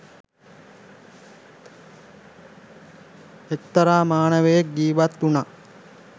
එක්තරා මානවකයෙක් ජීවත්වුණා.